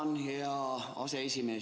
Tänan, hea aseesimees!